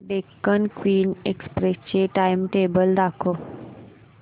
Deccan queen express चे timetable दाखव